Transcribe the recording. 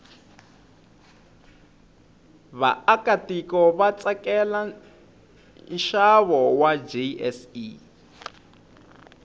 vaakatiko vatsakela nshavo wajse